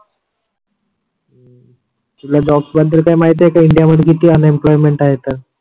तुला जॉब बदल काही माहिती आहे का इंडिया मध्ये किती अन एम्प्लॉयमेंट आहेत